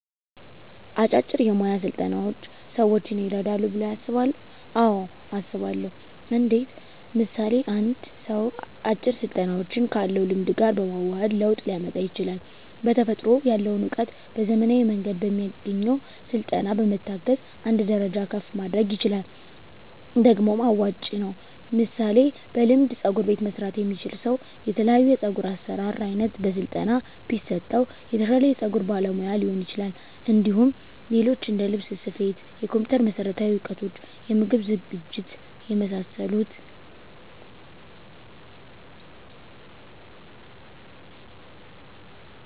አጫጭር የሞያ ስልጠናዎች ሰዎችን ይረዳሉ ብለው ያስባሉ አዎ አስባለሁ እንዴት ምሳሌ አንድ ሰው አጭር ስልጠናዎችን ካለው ልምድ ጋር በማዋሀድ ለውጥ ሊያመጣ ይችላል በተፈጥሮ ያለውን እውቀት በዘመናዊ መንገድ በሚያገኘው ስልጠና በመታገዝ አንድ ደረጃ ከፍ ማድረግ ይችላል ደግሞም አዋጭ ነው ምሳሌ በልምድ ፀጉር መስራት የሚችል ሰው የተለያዮ የፀጉር አሰራር አይነት በስለጠና ቢሰጠው የተሻለ የፀጉር ባለሙያ ሊሆን ይችላል እንዲሁም ሌሎች እንደልብስ ስፌት የኮምፒተር መሠረታዊ እውቀቶች የምግብ ዝግጅት የመሳሰሉት